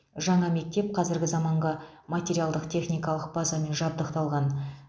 жаңа мектеп қазіргі заманғы материалдық техникалық базамен жабдықталған